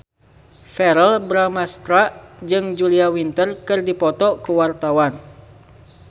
Verrell Bramastra jeung Julia Winter keur dipoto ku wartawan